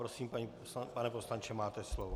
Prosím, pane poslanče, máte slovo.